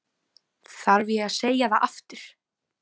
Þarf ég að segja það aftur?